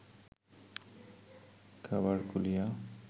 খাবার খুলিয়া